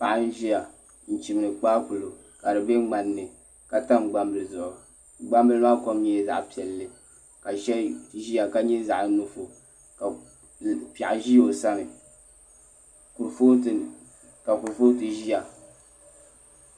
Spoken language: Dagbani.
Paɣa n ʒiya n chimdi kpaakpulo ka di bɛ ŋmani ni ka ŋmani maa kom nyɛla zaɣ piɛlli ka shɛli ʒiya ka nyɛ zaɣ nuɣso ka piɛɣu ʒi o sani ka kurifooti ʒiya